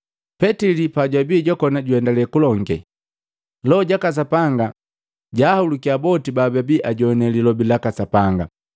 Petili pajwabi jwakona juendale kulonge, Loho jaka Sapanga jaahulukya boti bababi ajowane lilobi laka Sapanga.